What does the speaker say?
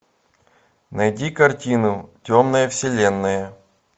найди картину темная вселенная